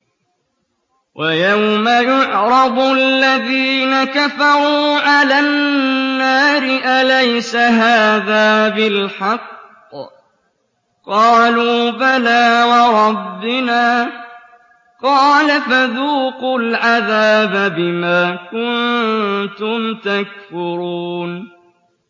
وَيَوْمَ يُعْرَضُ الَّذِينَ كَفَرُوا عَلَى النَّارِ أَلَيْسَ هَٰذَا بِالْحَقِّ ۖ قَالُوا بَلَىٰ وَرَبِّنَا ۚ قَالَ فَذُوقُوا الْعَذَابَ بِمَا كُنتُمْ تَكْفُرُونَ